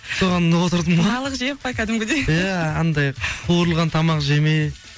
соған отырдым ғой балық жеп па кәдімгідей иә анандай қуырылған тамақ жемей